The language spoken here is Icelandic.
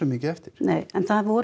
mikið eftir nei en það voru